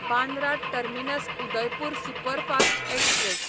Bandra terminus Udaipur superfast express